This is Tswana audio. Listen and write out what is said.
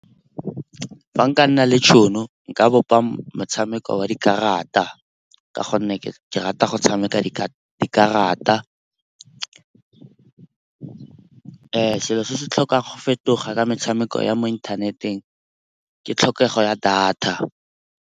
Fa nka nna le tšhono nka bopa motshameko wa dikarata ka gonne ke rata go tshameka dikarata. Selo se se tlhokang go fetoga ka metshameko ya mo inthaneteng ke tlhokego ya data.